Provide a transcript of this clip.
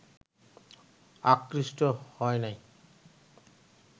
আকৃষ্ট হয় নাই